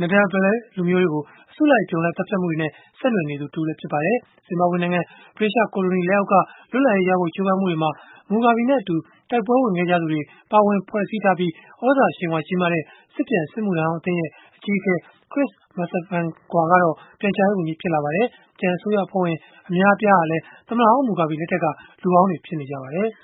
Ndebele လူမျိုးတွေကို အစုလိုက်အပြုံလိုက် သတ်ဖြတ်မှုတွေနဲ့ ဆက်နွယ်နေသူ တဦးလည်း ဖြစ်ပါတယ်။ ဇင်ဘာဘွေနိုင်ငံ ဗြိတိသျှကိုလိုနီလက်အောက်က လွတ်လပ်ရေးရဖို့ ကြိုးပမ်းမှုတွေမှာ Mugabe နဲ့အတူ တိုက်ပွဲဝင်ခဲ့ကြသူတွေ ပါဝင်ဖွဲ့စည်းထားပြီး၊ သြဇာအရှိန်အဝါကြီးမားတဲ့ စစ်ပြန်စစ်မှုထမ်းဟောင်း အသင်းရဲ့ အကြီးအကဲ Chris Mutsvangwa ကတော့ ပြန်ကြားရေးဝန်ကြီး ဖြစ်လာပါတယ်။ ကျန်အစိုးရအဖွဲ့ဝင် အများအပြားဟာလည်း သမ္မတဟောင်း Mugabe လက်ထက်က လူဟောင်းတွေ ဖြစ်ကြပါတယ်။